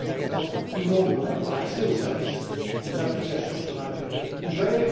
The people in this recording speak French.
Je pense que tout le monde doit avoir accès aux services, aux applications sur un internet ouvert.